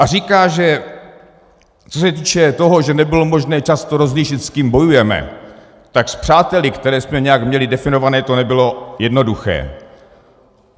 A říká, že co se týče toho, že nebylo možné často rozlišit, s kým bojujeme, tak s přáteli, které jsme nějak měli definované, to nebylo jednoduché.